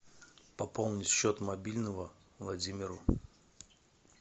пополнить счет мобильного владимиру